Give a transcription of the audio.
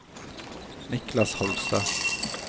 Niklas Holstad